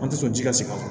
An tɛ sɔn ji ka se ka